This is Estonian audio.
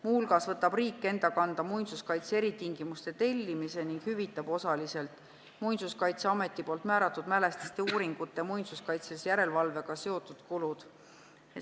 Muu hulgas võtab riik enda kanda muinsuskaitse eritingimuste tellimise ning hüvitab osaliselt Muinsuskaitseameti määratud mälestiste uuringute ja muinsuskaitselise järelevalvega seotud kulud.